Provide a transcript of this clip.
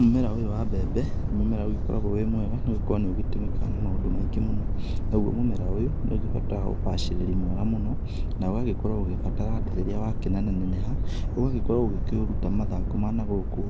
Mũmera ũyũ wa mbembe nĩ mũmera ũgĩkoragwo wĩ mwega nĩ gũkorwa niĩutũmĩkaga naũo mũmera ũrĩ bata wa ũgacĩrĩri mwega mũno na ũgakũra ũgĩbataraga atĩ rĩrĩa wakĩneneheha ũgikũra ũkĩrutaga mathangũ ma nagũkũ